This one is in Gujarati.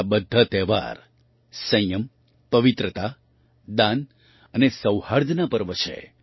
આ બધા તહેવાર સંયમ પવિત્રતા દાન અને સૌહાર્દના પર્વ છે